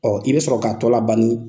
i bɛ sɔrɔ k'a tɔ la ban nin